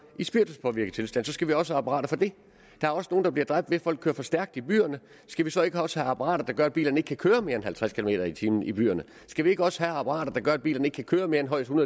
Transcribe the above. i spirituspåvirket tilstand så skal vi også have apparater for det der er også nogle der bliver dræbt ved at folk kører for stærkt i byerne skal vi så ikke også have apparater der gør at bilerne ikke kan køre mere end halvtreds kilometer per time i byerne skal vi ikke også have apparater der gør at bilerne ikke kan køre mere end højst en